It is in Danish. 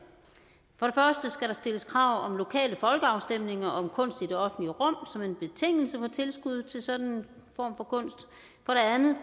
for der stilles krav om lokale folkeafstemninger om kunst i det offentlige rum som en betingelse for tilskuddet til sådan en form for kunst